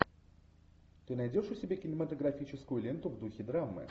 ты найдешь у себя кинематографическую ленту в духе драмы